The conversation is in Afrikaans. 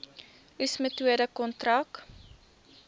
oes metode kontrak